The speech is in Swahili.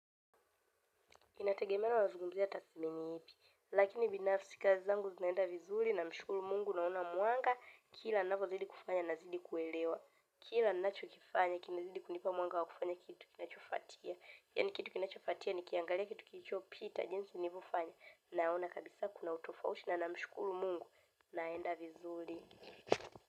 Inategemea na mazungumzo ya tasnia ipi, lakini binafsi kazi zangu zinaenda vizuri na ninamshukuru Mungu naona mwanga kila ninavyozidi kufanya na kuzidi kuelewa. Kila ninachokifanya, kinazidi kunipa mwanga wa kufanya kitu kinachofuatia. Yaani kitu kinachofuatia ni kuangalia kitu kilichopita jinsi nilivyofanya na ninaona kabisa kuna utofauti na ninamshukuru Mungu naenda vizuri.